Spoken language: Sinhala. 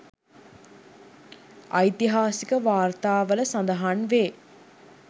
ඓතිහාසික වාර්තාවල සඳහන් වේ.